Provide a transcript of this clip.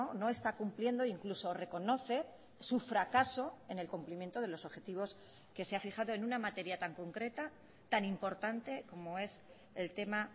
no está cumpliendo incluso reconoce su fracaso en el cumplimiento de los objetivos que se ha fijado en una materia tan concreta tan importante como es el tema